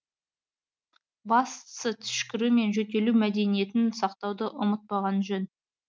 бастысы түшкіру мен жөтелу мәдениетін сақтауды ұмытпаған жөн